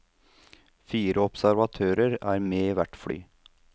Fire observatører er med i hvert fly.